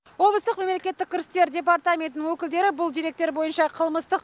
облыстық мемлекеттік кірістер департаментінің өкілдері бұл деректер бойынша қылмыстық